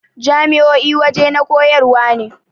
Jami'o'i wajana koyarwa ne